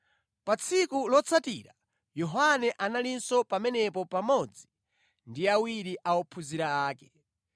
Pa tsiku lotsatira Yohane analinso pamenepo pamodzi ndi awiri a ophunzira ake.